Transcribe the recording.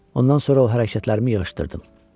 Ondan sonra o hərəkətlərimi yığışdırdım.